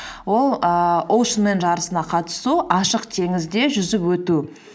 ол ііі оушенмен жарысына қатысу ашық теңізде жүзіп өту